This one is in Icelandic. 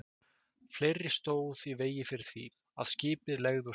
Fleira stóð í vegi fyrir því, að skipið legði úr höfn.